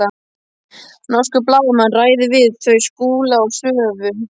Norskur blaðamaður ræðir við þau Skúla og Svövu.